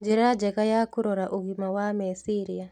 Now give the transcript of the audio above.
Njĩra njega ya kũrora ũgima wa meciria